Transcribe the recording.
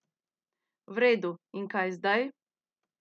V redu, in kaj zdaj?